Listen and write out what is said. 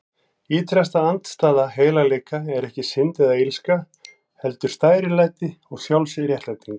Ýtrasta andstæða heilagleika er ekki synd eða illska, heldur stærilæti og sjálfsréttlæting.